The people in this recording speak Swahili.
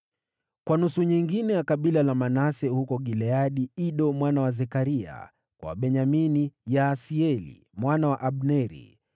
kwa nusu nyingine ya kabila la Manase huko Gileadi: Ido mwana wa Zekaria; kwa Wabenyamini: Yaasieli mwana wa Abneri;